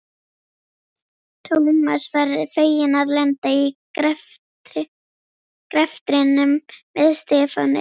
Thomas var feginn að lenda í greftrinum með Stefáni.